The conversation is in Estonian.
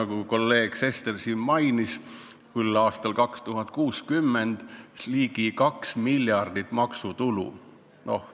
Nagu kolleeg Sester mainis, aastal 2060 võiks see tuua ligi 2 miljardit maksutulu.